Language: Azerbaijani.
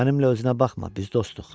Mənimlə özünə baxma, biz dostuq.